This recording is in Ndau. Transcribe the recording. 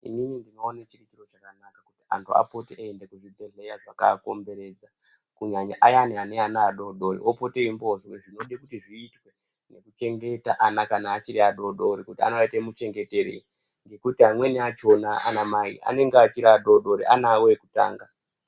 Inini ndinoona chiri chiro chakanaka, kuti anthu apote eienda kuzvibhedhlera zvakatikomberedza, kunyanya ayani ane ana adoodori apote eizwe zvinodikanwa kuti zviitwe zvekuchengeta ana kana achiri adoodori kuti anoaita muchengete rei. Ngekuti amweni achona ana mai achiri adoodori ana awo ekutanga.